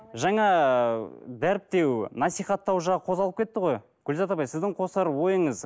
жаңа дәріптеу насихаттау жағы қозғалып кетті ғой гүлзат апай сіздің қосар ойыңыз